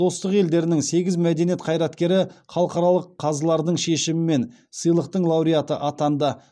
достық елдерінің сегіз мәдениет қайраткері халықаралық қазылардың шешімімен сыйлықтың лауреаты атанды